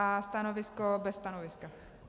A stanovisko - bez stanoviska.